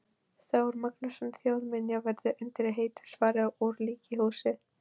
Þór Magnússon þjóðminjavörð undir heitinu Svarað úr líkhúsi.